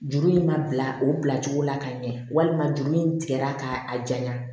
Juru in ma bila o bilacogo la ka ɲɛ walima juru in tigɛra k'a jaɲan